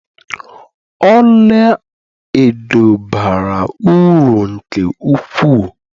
Ọlaedo bara uru nke ukwuu